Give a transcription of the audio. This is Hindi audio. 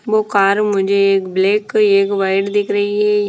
वो कार मुझे एक ब्लैक एक वाइट दिख रही है ।